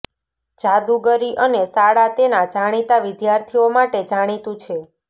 જાદુગરી અને શાળા તેના જાણીતા વિદ્યાર્થીઓ માટે જાણીતું છે